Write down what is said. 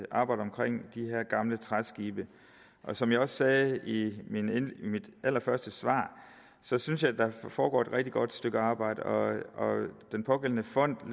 de her gamle træskibe som jeg også sagde i mit allerførste svar synes synes jeg at der foregår et rigtig godt stykke arbejde og den pågældende fond